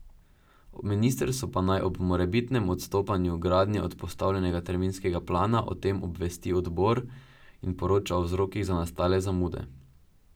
Ministrstvo pa naj ob morebitnem odstopanju gradnje od postavljenega terminskega plana o tem obvesti odbor in poroča o vzrokih za nastale zamude.